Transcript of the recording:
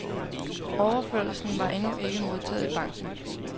Overførslen var endnu ikke modtaget i banken.